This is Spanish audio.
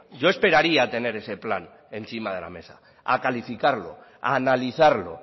yo esperaría a tener ese plan encima de la mesa a calificarlo a analizarlo